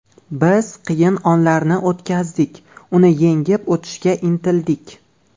Biz qiyin onlarni o‘tkazdik, uni yengib o‘tishga intildik.